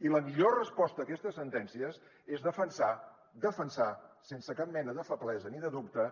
i la millor resposta a aquestes sentències és defensar defensar sense cap mena de feblesa ni de dubte